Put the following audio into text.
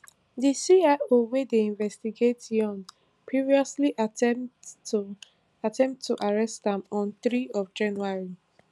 di cio wey dey investigate yoon previously attempt to attempt to arrest am on three january